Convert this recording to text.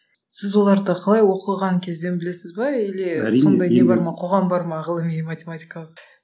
сіз оларды қалай оқыған кезден білесіз бе или сондай не бар ма қоғам бар ма ғылыми математикалық